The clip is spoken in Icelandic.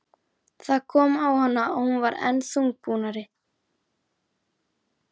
Það kom á hana og hún varð enn þungbúnari.